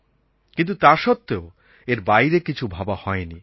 কিন্তু তা সত্ত্বেও এর বাইরে কিছু ভাবা হয়নি